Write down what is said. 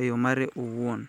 e yo mare owuon